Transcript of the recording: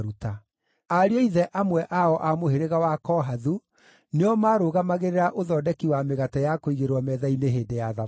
Ariũ a ithe amwe ao a mũhĩrĩga wa Kohathu nĩo marũgamagĩrĩra ũthondeki wa mĩgate ya kũigĩrĩrwo metha-inĩ hĩndĩ ya thabatũ.